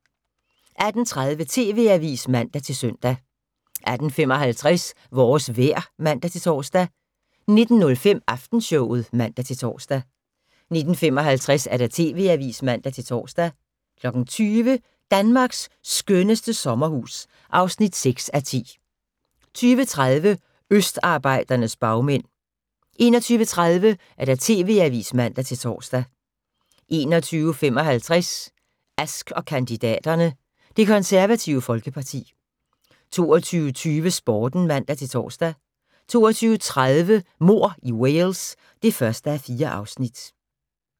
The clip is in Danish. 18:30: TV-avisen (man-søn) 18:55: Vores vejr (man-tor) 19:05: Aftenshowet (man-tor) 19:55: TV-avisen (man-tor) 20:00: Danmarks skønneste sommerhus (6:10) 20:30: Østarbejdernes bagmænd 21:30: TV-avisen (man-tor) 21:55: Ask & kandidaterne: Det Konservative Folkeparti 22:20: Sporten (man-tor) 22:30: Mord i Wales (1:4)